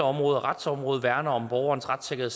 område og retsområdet værne om borgerens retssikkerhed